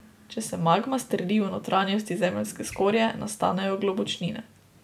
Če se magma strdi v notranjosti zemeljske skorje, nastanejo globočnine.